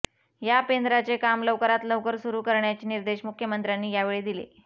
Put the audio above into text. या पेंद्राचे काम लवकरात लवकर सुरू करण्याचे निर्देश मुख्यमंत्र्यांनी यावेळी दिले